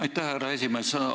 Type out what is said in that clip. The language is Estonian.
Aitäh, härra esimees!